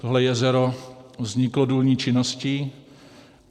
Tohle jezero vzniklo důlní činností.